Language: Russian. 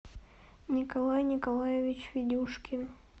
николай николаевич федюшкин